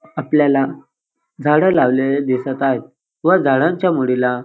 आपल्याला झाडं लावलेले दिसत आहे व झाडांच्या मुळीला --